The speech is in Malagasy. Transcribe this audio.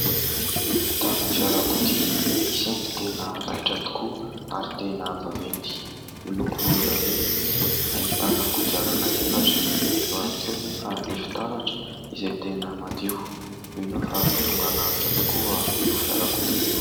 Ahitana fiarakodia isany tena raitra tokoa ary tena vaventy, miloko volondavenona izy, ahitana kodiarana efatra, eo ihany koa nefa ny fitaratra izay tena madio. Mino aho fa tonga lavitra tokoa io fiarakodia io.